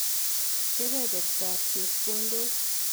Kebebertab chepkondok